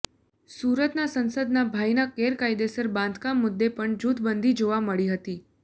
સુરતના સાંસદના ભાઈના ગેરકાયદેસર બાંધકામ મુદ્દે પણ જૂથબંધી જોવા મળી હતી